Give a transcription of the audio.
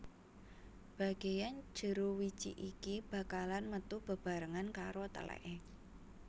Bageyan jero wiji iki bakalan metu bebarengan karo teleke